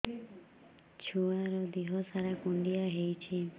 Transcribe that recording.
ଛୁଆର୍ ଦିହ ସାରା କୁଣ୍ଡିଆ ହେଇଚି